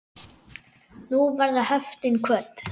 Nú verða höftin kvödd.